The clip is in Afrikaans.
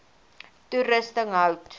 toerusting hout